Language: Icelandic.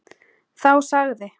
Þá sagði